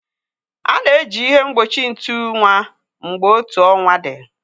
A na-eji ihe mgbochi ntu nwa mgbe otu ọnwa dị.